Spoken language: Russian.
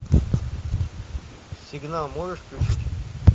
сигнал можешь включить